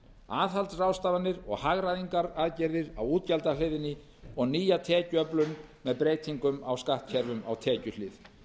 aðhaldsráðstafanir og hagræðingaraðgerðir á útgjaldahliðinni og nýja tekjuöflun með breytingum á skattkerfum á tekjuhlið